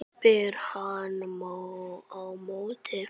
spyr hann á móti.